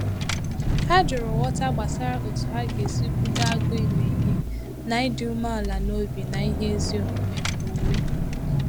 Ha jụrụ ghọta gbasara otu ha ga-esi kwụdo agụụ ime ihe na ịdị umeala n’obi na ihe ezi omume omume